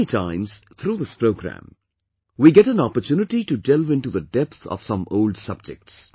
Many times, through this program, we get an opportunity to delve into the depth of some old subjects